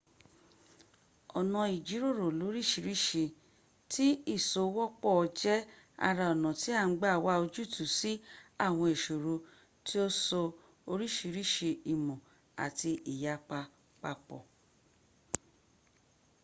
ona ijiroro lorisirisi ti isowopo je ara ona ti an gba wa ojutu si awon isoro ti o so orisi imo ati iyapa papo